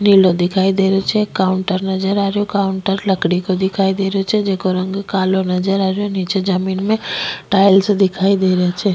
नीलो दिखाई देरो छे काउंटर नजर आ रेहो काउंटर लकड़ी को दिखाई देरो छे जेको रंग कालो नजर आ रेहो निचे जमीं में टाइल्स दिखाई दे रेहा छे।